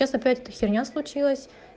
сейчас опять эта херня случилась